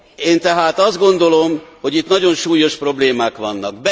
Én tehát azt gondolom, hogy itt nagyon súlyos problémák vannak.